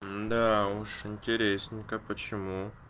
да уж интересненько почему